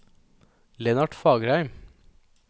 Lennart Fagerheim